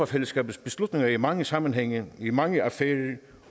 fællesskabs beslutninger i mange sammenhænge i mange affærer